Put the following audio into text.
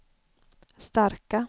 starka